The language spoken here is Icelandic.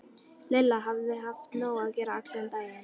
Lilla hafði haft nóg að gera allan daginn.